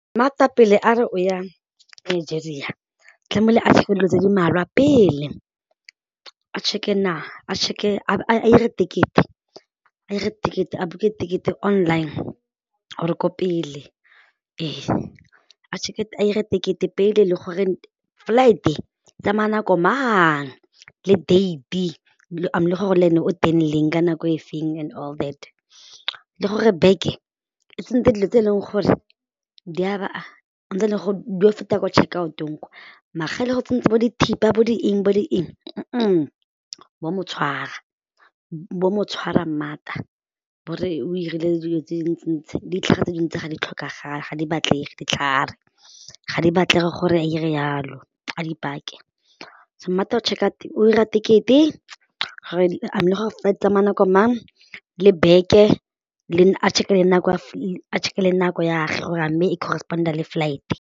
Mmata pele a re o ya Nigeria tlamehile a check-e dilo tse di malwa pele, a check-e naga, a check a 'ire tekete a ire tekete, a book-e tekete online or-e ko pele ee, a a 'ire tekete pele le gore flight-e tsamaya nako mang le date gore le ene o teng leng ka nako e feng and all that, le gore beke e tsentse dilo tse e leng gore tse e leng dio feta kwa check out-ong kwa, mara ga e gore tsentse bo dithipa bo di eng bo di eng bo mo tshwara bo mo tshwara mmata, bo re o 'irile dilo tse di ntsintsi, ditlhare tse dintsi ga di tlhokagale, ga di batlege ditlhare ga di batlege gore a dire jalo a dipake. So mmata o check-a , o ira tekete gore flight e tsamaya nako mang le beke le check le nako le nako ya'age gore a mme e correspond-a le flight.